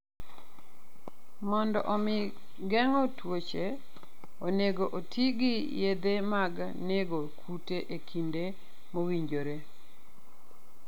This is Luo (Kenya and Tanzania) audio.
Mondo omi geng'o tuoche, onego oti gi yedhe mag nego kute e kinde mowinjore.